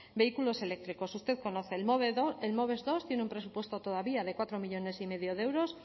vehículos eléctricos usted conoce el moves bigarren tiene un presupuesto todavía de cuatro millónes y medio de euros